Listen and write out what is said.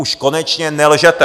Už konečně nelžete!